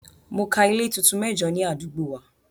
Mo ka ilé tuntun mẹ́jo ní àdúgbò wa.